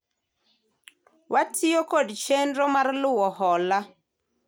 watiyo nkod chenro mar luwo hola